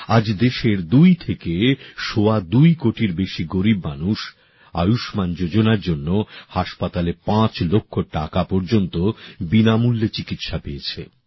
আজ দেশের দুই থেকে সওয়া দুই কোটির বেশী গরিব মানুষ আয়ুষ্মান যোজনার জন্য হাসপাতালে ৫ লক্ষ টাকা পর্যন্ত বিনামূল্যে চিকিৎসা পেয়েছে